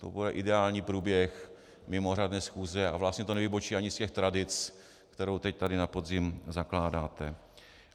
To bude ideální průběh mimořádné schůze a vlastně to nevybočí ani z těch tradic, kterou teď tady na podzim zakládáte.